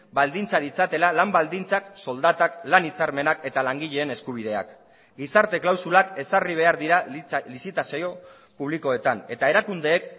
baldintza ditzatela lan baldintzak soldatak lan hitzarmenak eta langileen eskubideak gizarte klausulak ezarri behar dira lizitazio publikoetan eta erakundeek